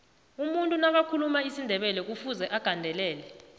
umuntu nakathuluma isindebelekufuze agandelele